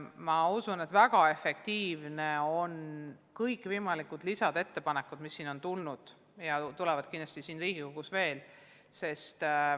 Ma usun, et väga efektiivsed on kõikvõimalikud ettepanekud, mis on tehtud Riigikogus ja mida tehakse kindlasti veel.